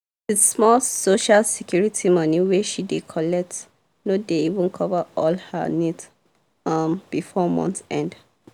the small social security money wey she dey collect no dey even cover all her needs um before month end.